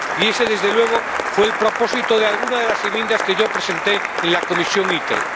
Y ese, desde luego, fue el propósito de alguna de las enmiendas que yo presenté en la Comisión ITRE.